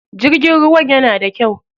Jirgin ruwan yana da kyau.